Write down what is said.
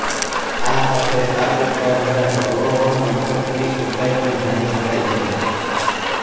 આ સાથે આ ઉપકરણ વડે અવરોહણમથકની ઊંચાઈ પણ જાણી શકાય છે